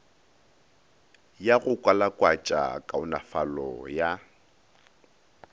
ya go kwalakwatša kaonafalo ya